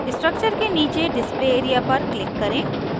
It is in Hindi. structure के नीचे display area पर click करें